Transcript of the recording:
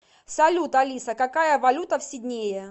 салют алиса какая валюта в сиднее